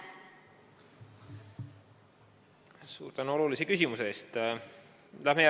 Suur tänu olulise küsimuse eest!